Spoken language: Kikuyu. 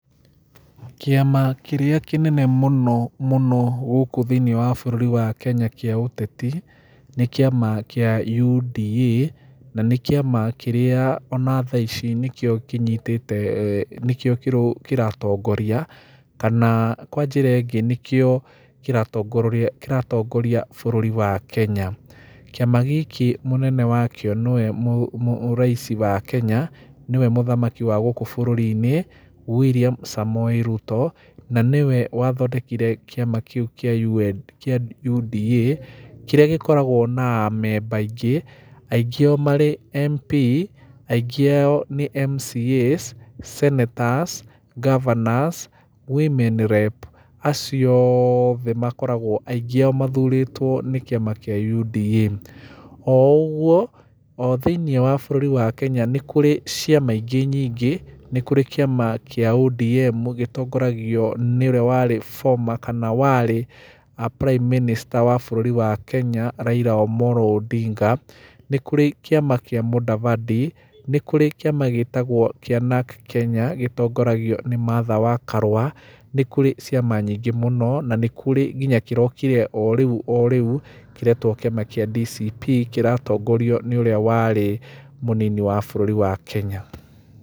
Kĩama kĩrĩa kĩnene mũno mũno gũkũ thĩiniĩ wa bũrũri wa Kenya kĩa ũteti nĩ kĩama kĩa UDA na nĩ kĩama kĩrĩa ona thaa ici nĩkĩo kĩnyitĩte, nĩkĩo kĩratongoria, kana kwa njĩra ĩngĩ nĩkĩo kĩratongoria bũrũri wa Kenya. Kĩama gĩkĩ mũnene wakĩo nĩwe rais wa Kenya, nĩwe mũthamaki wa gũkũ bũrũri-inĩ, Willian Samoei Ruto, na nĩwe wathondekire kĩama kĩu kĩa UDA, kĩrĩa gĩkoragwo na amemba aingĩ, aingĩ ao marĩ MP, aingĩ ao nĩ MCAs, senators, governors, women rep acio othe aingĩ ao makoragwo mathurĩtwo nĩ kĩama kĩa UDA. O uguo, o thĩiniĩ wa bũrũri wa Kenya ni kũrĩ ciama ingĩ nyingĩ. Nĩ kũrĩ kĩama gĩtongoragio nĩ ũrĩa warĩ former kana warĩ prime minister wa Kenya Raila Amollo Odinga, nĩ kũrĩ kĩama kĩa Mudavadi, nĩ kũrĩ kĩama gĩtagwo kĩaNarc Kenya gĩtongoragio nĩ Martha wa Karua, nĩ kũrĩ ciama nyingĩ mũno, na nĩkũrĩ nginya kĩrokire o rĩu o rĩu, kĩretwo kĩama kĩa DCP kĩratongorio nĩ ũrĩa warĩ mũnini wa bũrũri wa Kenya.